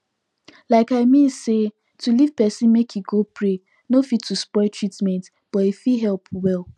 like i mean say to leave pesin make e go pray nor fit to spoil treatment but e fit helep well